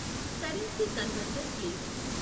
Currency converter please.